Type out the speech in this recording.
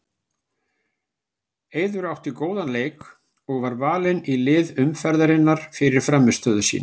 Eiður átti góðan leik og var valinn í lið umferðarinnar fyrir frammistöðu sína.